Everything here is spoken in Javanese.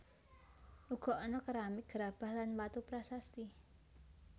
Uga ana keramik gerabah lan watu prasasti